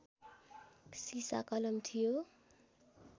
सिसाकलम थियो